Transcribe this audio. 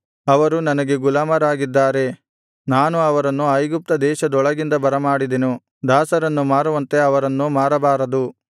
ಅವರು ನನಗೆ ಗುಲಾಮರಾಗಿದ್ದಾರೆ ನಾನು ಅವರನ್ನು ಐಗುಪ್ತದೇಶದೊಳಗಿಂದ ಬರಮಾಡಿದೆನು ದಾಸರನ್ನು ಮಾರುವಂತೆ ಅವರನ್ನು ಮಾರಬಾರದು